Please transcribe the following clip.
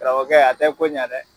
Karamɔgɔkɛ a tɛ ko ɲɛ dɛ.